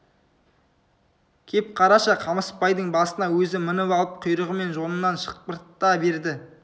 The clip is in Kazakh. кеп қараша қамысбайдың басына өзі мініп алып құйрығы мен жонынан шықпырта берді